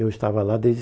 Eu estava lá desde